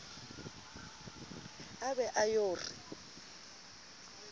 a be a yo re